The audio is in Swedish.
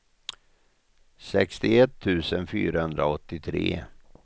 sextioett tusen fyrahundraåttiotre